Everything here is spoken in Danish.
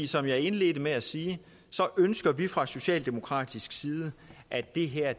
som jeg indledte med at sige ønsker vi fra socialdemokratisk side at det her